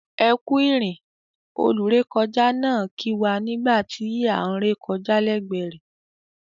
"Ekú ìrìn" olúrekọjá náà kì wá nígbà tí án re kọjá lẹgbẹ rẹ̀.